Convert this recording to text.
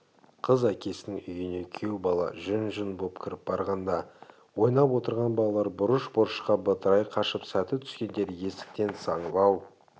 қыз әкесінің үйіне күйеу бала жүн-жүн боп кіріп барғанда ойнап отырған балалар бұрыш-бұрышқа бытырай қашып сәті түскендері есіктен саңлау